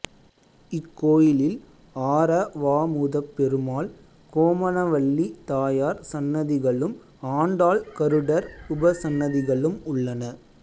இக்கோயிலில் ஆரவாமுதப்பெருமாள் கோமனவள்ளி தாயார் சன்னதிகளும் ஆண்டாள் கருடர் உபசன்னதிகளும் உள்ளன